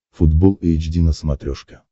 футбол эйч ди на смотрешке